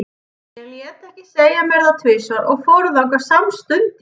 Ég lét ekki segja mér það tvisvar og fór þangað samstundis.